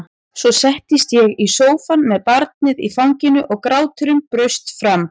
Svo settist ég í sófann með barnið í fanginu og gráturinn braust fram.